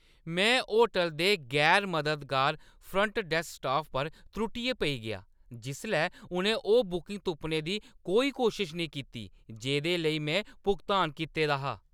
मैं होटलै दे गैर-मददगार फ्रंट डैस्क स्टाफ पर त्रुट्टियै पेई गेआ जिसलै उʼनें ओह् बुकिंग तुप्पने दी कोई कोशश नेईं कीती जेह्दे लेई में भुगतान कीते दा हा।